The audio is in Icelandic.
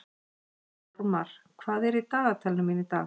Þórmar, hvað er í dagatalinu mínu í dag?